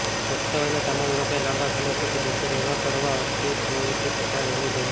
પુખ્ત વયના તમામ લોકોએ લાંબા સમય સુધી બેસી રહેવા કરતાં હળવી પ્રવૃત્તિ કરતા રહેવું જોઇએ